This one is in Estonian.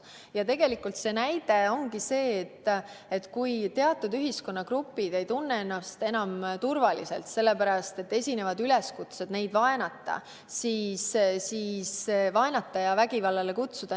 näiteks ongi tegelikult see, kui teatud ühiskonnagrupid ei tunne ennast enam turvaliselt, sellepärast et kutsutakse üles neid vaenama ja nende suhtes vägivaldselt käituma.